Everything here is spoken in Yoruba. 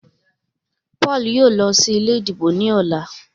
Paul yóò ló sí ilé ìdìbò ní ọlá.